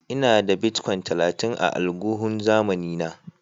Ina da "Bitcoin" talatin a alguhun zamanin na.